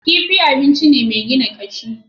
Kifi abinci ne mai gina kashi.